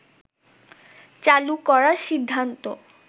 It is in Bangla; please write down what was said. চালু করার সিদ্ধান্ত